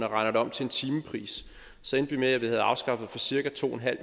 regner den om til en timepris så endte det med at vi havde afskaffet for cirka to